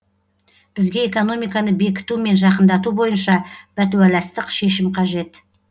бізге экономиканы бекіту мен жақындату бойынша бәтуаластық шешім қажет